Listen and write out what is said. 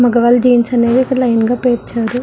మగవాళ్ళు జీన్స్ అనేవి లైన్ గా ఇక్కడ పేర్చారు.